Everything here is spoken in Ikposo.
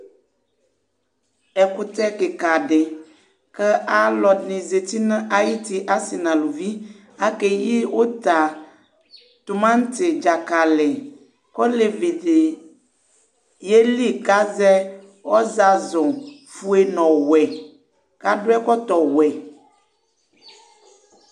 Ɛkutɛ kika di, ka ɔlɔdini nazti, asi nu uluvi, akéyi uta, tumati, djakali Olevi di yéli ka zɛ ɔzazu fué nɔ ɔwuɛ, kadu ɛkɔtɔ wuɛ